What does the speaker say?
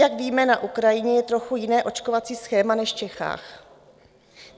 Jak víme, na Ukrajině je trochu jiné očkovací schéma než v Čechách.